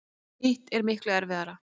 Hitt er miklu erfiðara.